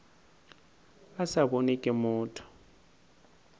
a sa bonwe ke motho